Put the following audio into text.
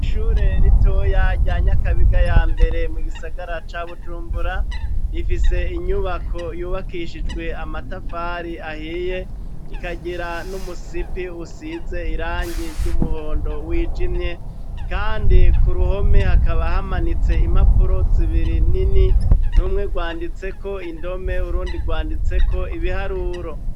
Ishure ritoya rya Nyakabiga ya mbere, mu gisagara ca Bujumbura, rifise inyubako yubakishijwe amatafari ahiye, ikagira n'umusipi usize irangi ry'umuhondo wijimye; kandi ku ruhome, hakaba hamanitse impapuro zibiri nini, rumwe rwanditseko indome, urundi rwanditseko ibiharuro.